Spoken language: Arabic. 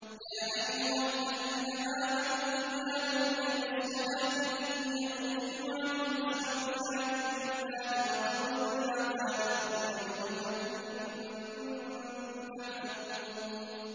يَا أَيُّهَا الَّذِينَ آمَنُوا إِذَا نُودِيَ لِلصَّلَاةِ مِن يَوْمِ الْجُمُعَةِ فَاسْعَوْا إِلَىٰ ذِكْرِ اللَّهِ وَذَرُوا الْبَيْعَ ۚ ذَٰلِكُمْ خَيْرٌ لَّكُمْ إِن كُنتُمْ تَعْلَمُونَ